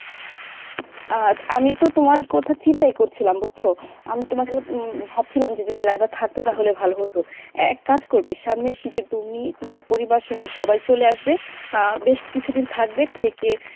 আহ আমিতো তোমার কথাই চিন্তা করছিলাম বুঝছো আমি ভাবছিলাম যে যদি লাইবা থাকতো তাহলে ভালো হতো, এক কাজ করবে সামনের শীতে তুমি তোমার পরিবার সহ সবাই চলে আসবে আহ বেশ কিছুদিন থাকবে থেকে